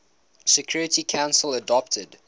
security council adopted